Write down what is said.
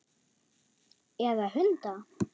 Eða hunda?